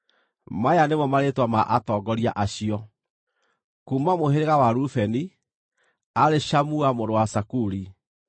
Maya nĩmo marĩĩtwa ma atongoria acio: kuuma mũhĩrĩga wa Rubeni, aarĩ Shamua mũrũ wa Zakuri;